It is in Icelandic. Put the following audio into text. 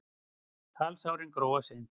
Kalsárin gróa seint.